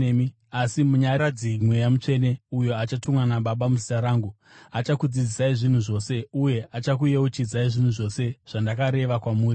Asi Munyaradzi, Mweya Mutsvene, uyo achatumwa naBaba muzita rangu, achakudzidzisai zvinhu zvose uye achakuyeuchidzai zvinhu zvose zvandakareva kwamuri.